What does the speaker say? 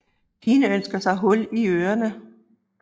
Pigen ønsker sig hul i ørene